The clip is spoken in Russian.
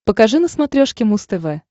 покажи на смотрешке муз тв